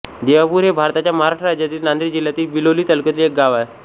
देवापूर हे भारताच्या महाराष्ट्र राज्यातील नांदेड जिल्ह्यातील बिलोली तालुक्यातील एक गाव आहे